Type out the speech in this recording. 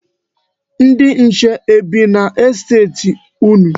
Ndị nche e bi n'estet unu?